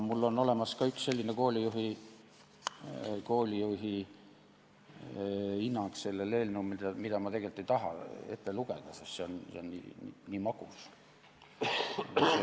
Mul on olemas ka üks koolijuhi hinnang sellele eelnõule, mida ma tegelikult ei taha ette lugeda, sest see on nii magus.